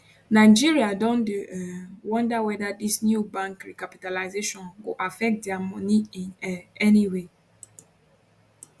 nigerian don dey um wonder weda dis new bank recapitalisation go affect dia moni in um any way